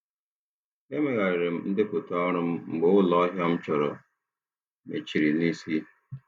Emegharịrị m ndepụta ọrụ m mgbe ụlọ ahịa m chọrọ mechiri n'isi.